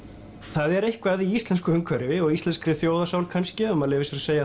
það er eitthvað í íslensku umhverfi og íslenskri þjóðarsál kannski ef maður leyfir sér að segja